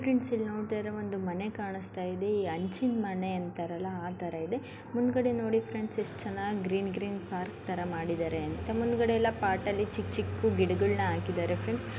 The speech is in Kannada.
ಫ್ರೆಂಡ್ಸ್ ನೋಡ್ತಾ ಇರಿ ಒಂದು ಮನೆ ಕಾಣ್ತಾ ಇದೆ ಈ ಅಂಚಿನ ಮನೆ ಅಂತಾರಲ್ಲ ಆತರ ಮುಂದ್ಗಡೆ ನೋಡಿ ಫ್ರೆಂಡ್ ಎಸ್ ಚೆನ್ನಾಗಿ ಗ್ರೀನ್ ಗ್ರೀನ್ ತರ ಪಾರ್ಕ್ ತರ ಮಾಡಿದರೆ ಅಂತ ಮುಂದ್ಗಡೆ ಪೊಟ್ ಎಲ್ಲ ಚಿಕ್ಕ ಚಿಕ್ಕ ಗಿಡಗಳು ಹಾಕಿದ್ದಾರೆ ಫ್ರೆಂಡ್ಸ್ .